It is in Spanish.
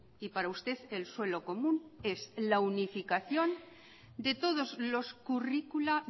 y para usted el suelo común es la unificación de todos los curricula